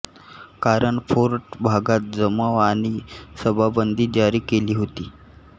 कारण फोर्ट भागात जमाव आणि सभाबंदी जारी केली होती